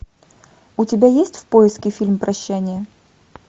у тебя есть в поиске фильм прощание